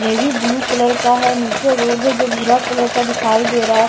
Navy blue colour का है नीचे रोज है जो भूरा कलर का दिखाई दे रहा है।